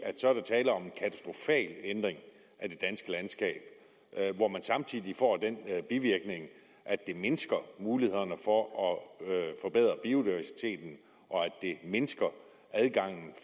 at ændring af det danske landskab hvor man samtidig får den bivirkning at det mindsker mulighederne for at forbedre biodiversiteten at det mindsker adgangen